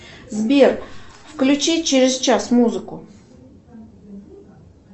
сбер включи через час музыку